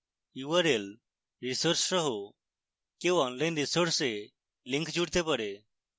url resource সহ কেউ online resource links জুড়তে পারে